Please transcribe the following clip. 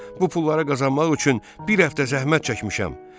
Bu pulları qazanmaq üçün bir həftə zəhmət çəkmişəm.